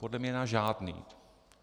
Podle mě na žádný!